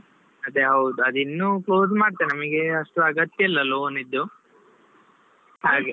ಅದೇ ಹೌದು, ಅದಿನ್ನೂ close ಮಾಡ್ತೆನೆ ನಮಿಗೆ ಅದು ಅಷ್ಟು ಅಗತ್ಯ ಇಲ್ಲಾ loan ಇದ್ದು, ಹಾಗೆ.